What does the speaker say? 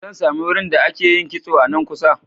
Zan sami wurin da ake yin kitso a nan kusa?